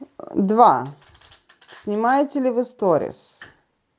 два снимаете ли вы сторис